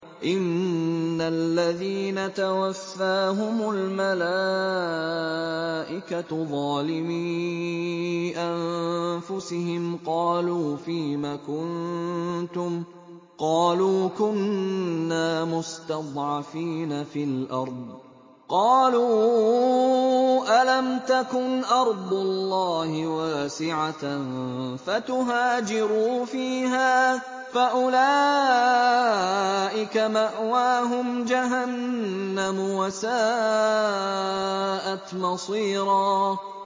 إِنَّ الَّذِينَ تَوَفَّاهُمُ الْمَلَائِكَةُ ظَالِمِي أَنفُسِهِمْ قَالُوا فِيمَ كُنتُمْ ۖ قَالُوا كُنَّا مُسْتَضْعَفِينَ فِي الْأَرْضِ ۚ قَالُوا أَلَمْ تَكُنْ أَرْضُ اللَّهِ وَاسِعَةً فَتُهَاجِرُوا فِيهَا ۚ فَأُولَٰئِكَ مَأْوَاهُمْ جَهَنَّمُ ۖ وَسَاءَتْ مَصِيرًا